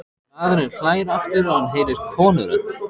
Maðurinn hlær aftur og hann heyrir konurödd.